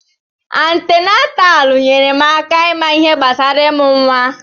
Antinataalu nyèrè m aka ịma ihe gbasara imụ nwa.